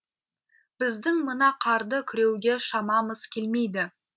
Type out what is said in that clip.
біздің мына қарды күреуге шамамыз келмейді